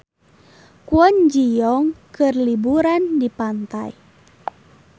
Kwon Ji Yong keur liburan di pantai